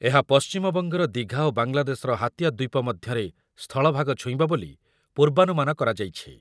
ଏହା ପଶ୍ଚିମବଙ୍ଗର ଦିଘା ଓ ବାଂଲାଦେଶର ହାତିଆ ଦ୍ୱୀପ ମଧ୍ୟରେ ସ୍ଥଳଭାଗ ଛୁଇଁବ ବୋଲି ପୂର୍ବାନୁମାନ କରାଯାଇଛି ।